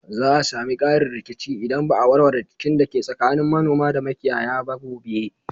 Za a sami ƙarin rikici idan ba a warware rikicin da ke tsakanin manoma da makiyaya ba gobe